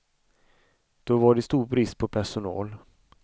Då var det stor brist på personal.